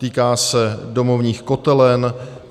Týká se domovních kotelen.